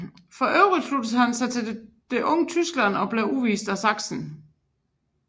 For øvrigt sluttede han sig til Det unge Tyskland og blev udvist af Sachsen